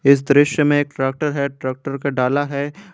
इस दृश्य में एक ट्रैक्टर है ट्रैक्टर का डाला है।